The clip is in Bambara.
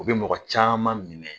O bi mɔgɔ caman minɛ